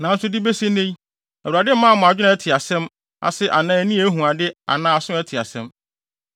Nanso de besi nnɛ yi, Awurade mmaa mo adwene a ɛte asɛm ase anaa ani a ehu ade anaa aso a ɛte asɛm.